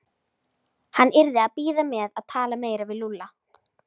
Hann yrði að bíða með að tala meira við Lúlla.